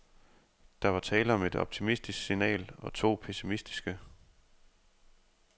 Der var tale om et optimistisk signal og to pessimistiske.